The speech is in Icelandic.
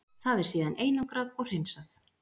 Það er síðan einangrað og hreinsað.